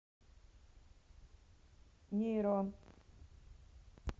нейрон